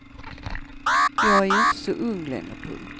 Jag är ju inte så ung längre. punkt